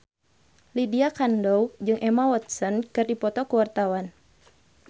Lydia Kandou jeung Emma Watson keur dipoto ku wartawan